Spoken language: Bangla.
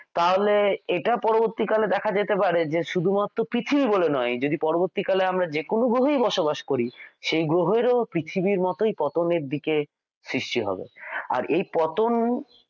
তাহলে এটা পরবর্তীকালে দেখা যেতে পারে যে শুধুমাত্র পিছিয়ে পড়া নয় যদি পরবর্তীকালে আমরা যে কোনো ভাবেই বসবাস করি সেই গ্রহের ও পৃথিবীর মতই পতনের দিকে সৃষ্টি হবে আর এই পতন